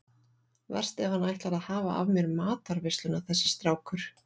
Verst ef hann ætlar að hafa af mér matarveisluna þessi strákur.